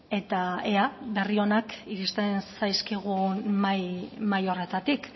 eta ea berri onak iristen zaizkigun mahai horretatik